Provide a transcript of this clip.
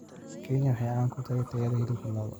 Kenya waxay caan ku tahay tayada hilibka lo'da.